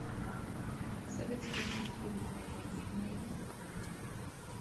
советские мультфильмы пожалуйста найди